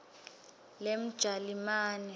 lemjalimane